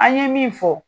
An ye min fɔ